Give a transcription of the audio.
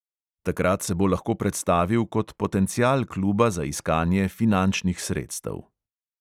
Takrat se bo lahko predstavil kot potencial kluba za iskanje finančnih sredstev.